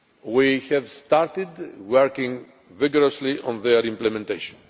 We have started working vigorously on their implementation.